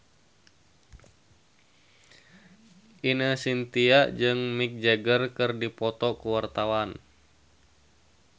Ine Shintya jeung Mick Jagger keur dipoto ku wartawan